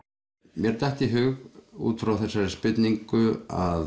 mér datt í hug út frá þessari spurningu að